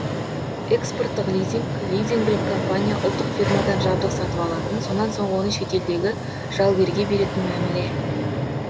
экспорттық лизинг лизингілік компания ұлттық фирмадан жабдық сатып алатын сонан соң оны шетелдегі жалгерге беретін мәміле